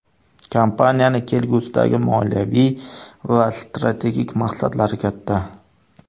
Kompaniyaning kelgusidagi moliyaviy va strategik maqsadlari katta.